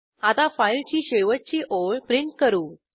आता फाईलची शेवटची ओळ प्रिंट करू